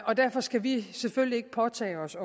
og derfor skal vi selvfølgelig ikke påtage os